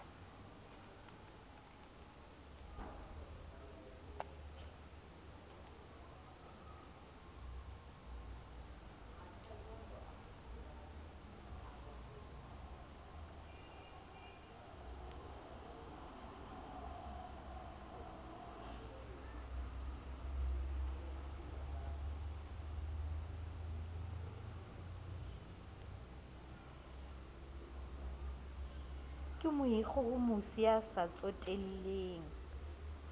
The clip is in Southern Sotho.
ke moikgohomosi ya sa tsotelleng